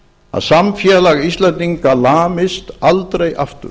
að samfélag íslendinga lamist aldrei aftur